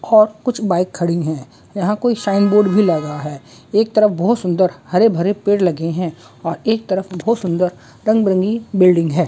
और कुछ बाइक खड़ी हैं यहां कोई शाइन बोर्ड भी लगा हैं एक तरफ बहुत सुंदर हरे भरे पेड़ लगे हैं और एक तरफ बहुत सुंदर रंग बिरंगी बिल्डिंग हैं।